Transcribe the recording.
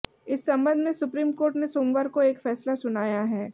इस संबंध में सुप्रीम कोर्ट ने सोमवार को एक फैसला सुनाया है